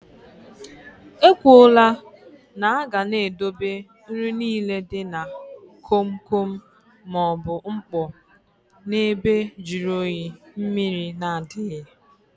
E kwụọ là na aga n'edobe nri nile dị na kom kom maọbụ mkpọ na ebe jụrụ oyi, mmrir na adịghị